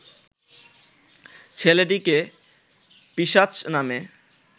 ছেলেটিকে পিশাচ নামে